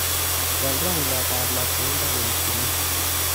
Waal rangyatab labkeindo koek buluu